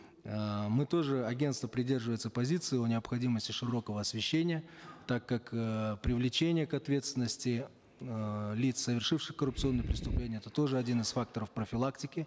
эээ мы тоже агентство придерживается позиции о необходимости широкого освещения так как э привлечение к ответственности эээ лиц совершивших коррупционные преступления это тоже один из факторов профилактики